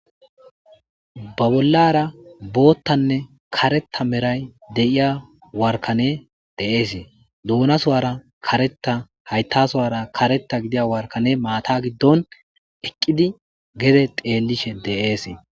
ba bollara boottanne kareta meray de7iya warkane de7eesee duuna suwara kareta haytasuwara kareta gidiya warkane maata giddon eqqidi gede deelishe deeese